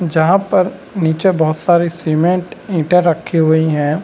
जहाँ पर नीचे बहुत सारे सीमेंट ईटा रखी हुई है।